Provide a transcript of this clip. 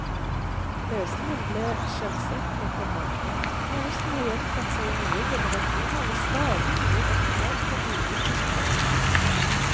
Lesningen ble skjellsettende for mange, noe som har gjentatt seg i nye generasjoner ved stadig nye opplag på ulike språk.